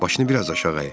Başını biraz aşağı əy.